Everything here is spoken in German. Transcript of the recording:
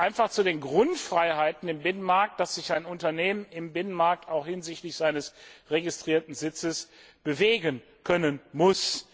Und es gehört einfach zu den Grundfreiheiten im Binnenmarkt, dass sich ein Unternehmen im Binnenmarkt auch hinsichtlich seines registrierten Sitzes bewegen können muss.